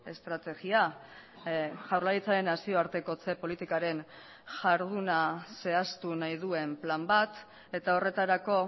estrategia jaurlaritzaren nazioartekotze politikaren jarduna zehaztu nahi duen plan bat eta horretarako